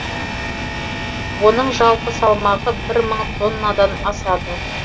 оның жалпы салмағы бір мың тоннадан асады